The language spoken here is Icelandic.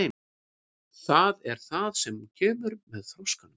Það er það sem kemur með þroskanum.